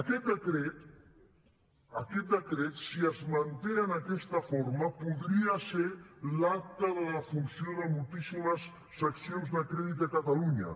aquest decret aquest decret si és manté en aquesta forma podria ser l’acta de defunció de moltíssimes seccions de crèdit de catalunya